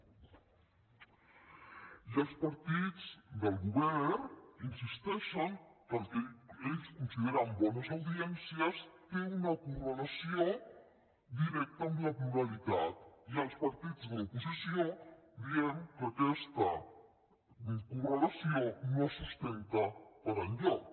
i els partits del govern insisteixen que el que ells consideren bones audiències té una correlació directa amb la pluralitat i els partits de l’oposició diem que aquesta correlació no es sustenta per enlloc